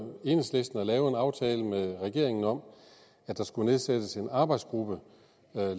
enhedslisten at lave en aftale med regeringen om at der skulle nedsættes en arbejdsgruppe